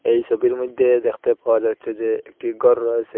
এই ছবির মধ্যে দেখতে পাওয়া যাচ্ছে যে একটি গর রয়েস়ে।